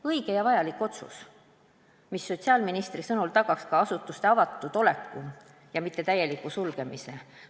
Õige ja vajalik otsus, mis sotsiaalministri sõnul tagaks ka asutuste avatud oleku ja väldiks nende täielikku sulgemist.